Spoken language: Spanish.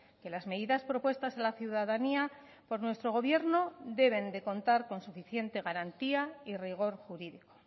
que las medidas propuestas a la ciudadanía por nuestro gobierno deben de contar con suficiente garantía y rigor jurídico